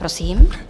Prosím.